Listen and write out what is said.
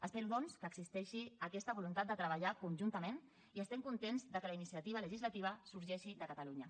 espero doncs que existeixi aquesta voluntat de treballar conjuntament i estem contents que la iniciativa legislativa sorgeixi de catalunya